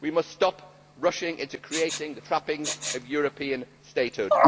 We must stop rushing into creating the trappings of European statehood.